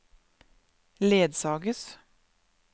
ledsages